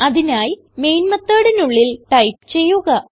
അതിനായി മെയിൻ methodനുള്ളിൽ ടൈപ്പ് ചെയ്യുക